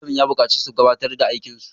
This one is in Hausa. Malamin ya bukaci su gabatar da aikin su!